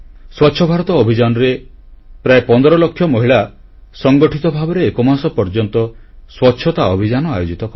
ସ୍ୱଚ୍ଛ ଭାରତ ଅଭିଯାନରେ ପ୍ରାୟ 15ଲକ୍ଷ ମହିଳା ସଂଗଠିତ ଭାବରେ ଏକମାସ ପର୍ଯ୍ୟନ୍ତ ସ୍ୱଚ୍ଛତା ଅଭିଯାନ ଆୟୋଜିତ କଲେ